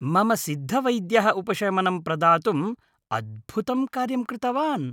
मम सिद्धवैद्यः उपशमनं प्रदातुम् अद्भुतं कार्यं कृतवान्।